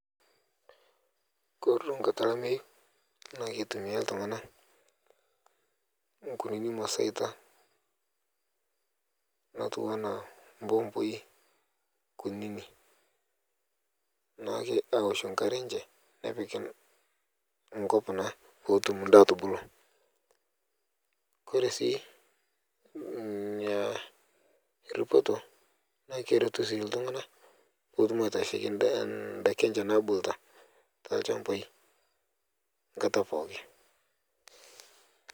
Kore duo nkata elameyu naa keitumia ltung'ana, nkunini maseita, natuwana mpompoi kunini, naake aoshe nkare enche, nepik enkop naa pootum ndaa atubulu. Kore sii mmh ripoto naa keretu sii ltung'ana pootum aitasheki ndaa ndaaki enche nabuluta te lchambai, nkata pooki.